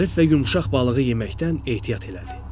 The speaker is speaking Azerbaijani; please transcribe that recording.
Zərif və yumşaq balığı yeməkdən ehtiyat elədi.